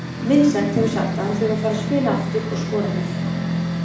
Vincent hefur sagt að hann þurfi að fara að spila aftur og skora mörk.